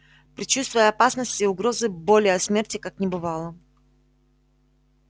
предчувствия опасности угрозы боли а смерти как не бывало